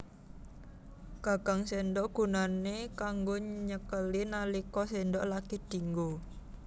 Gagang séndhok gunané kanggo nyekeli nalika séndhok lagi dianggo